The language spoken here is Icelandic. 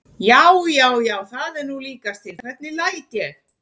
JÁ, JÁ, JÁ, JÁ, ÞAÐ ER NÚ LÍKAST TIL, HVERNIG LÆT ÉG!